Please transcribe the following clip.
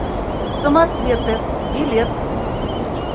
самоцветы билет